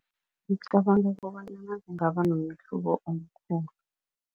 Ngicabanga kobanyana kungaba nomehluko omkhulu.